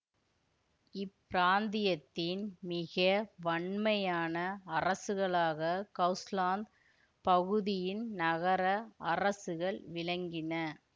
இப்பிராந்தியத்தின் மிக வன்மையான அரசுகளாக ஹவுசலாந்து பகுதியின் நகர அரசுகள் விளங்கின